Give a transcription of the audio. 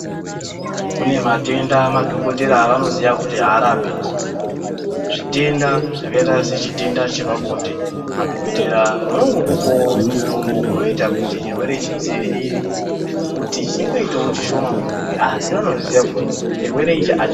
Kune matenda madhokodhera avanoziya kuti aarapiki zvitenda zvakaita sechitEnda chepabonde madhokodhera vanongokupawi mutombo unoita kuti chirwere chidzivirire kuti chingoitawo chishoma mumuviri asi vanoziya kuti chirwere ichi achi.